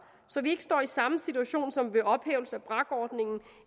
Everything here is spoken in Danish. så vi ikke står i samme situation som ved ophævelsen af brakordningen